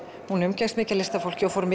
hún umgekkst mikið af listafólki og fór